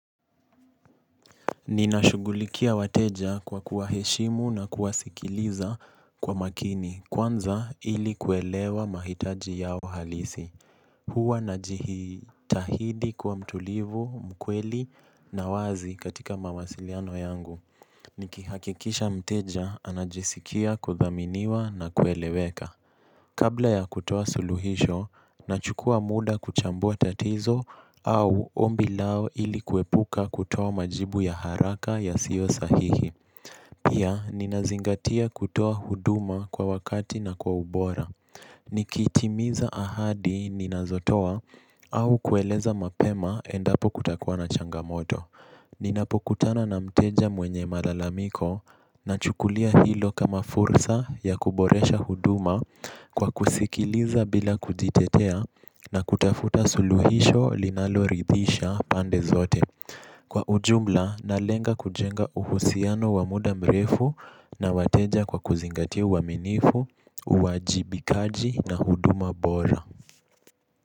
Ninashugulikia wateja kwa kuwaheshimu na kuwasikiliza kwa makini kwanza ili kuelewa mahitaji yao halisi. Huwa najihitahidi kuwa mtulivu, mkweli na wazi katika mawasiliano yangu. Nikihakikisha mteja anajisikia kudhaminiwa na kueleweka. Kabla ya kutoa suluhisho, nachukuwa muda kuchambua tatizo au ombi lao ili kuepuka kutoa majibu ya haraka yasio sahihi. Pia, ninazingatia kutoa huduma kwa wakati na kwa ubora. Nikitimiza ahadi ninazotoa au kueleza mapema endapo kutakuwa na changamoto. Ninapokutana na mteja mwenye malalamiko nachukulia hilo kama fursa ya kuboresha huduma kwa kusikiliza bila kujitetea na kutafuta suluhisho linaloridhisha pande zote. Kwa ujumla nalenga kujenga uhusiano wa muda mrefu na wateja kwa kuzingatia uaminifu, uwajibikaji na huduma bora.